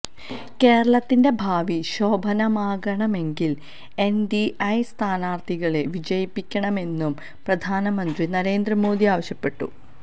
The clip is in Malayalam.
കേരളത്തിന്റെ ഭാവി ശോഭനമാകണമെങ്കില് എന്ഡിഎ സ്ഥാനാര്ത്ഥികളെ വിജയിപ്പിക്കണമെന്നും പ്രധാനമന്ത്രി നരേന്ദ്ര മോദി ആവശ്യപ്പെട്ടു